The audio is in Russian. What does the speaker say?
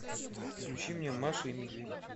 включи мне маша и медведь